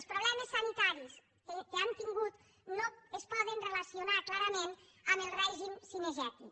els problemes sanitaris que han tingut no es poden relacionar clarament amb el règim cinegètic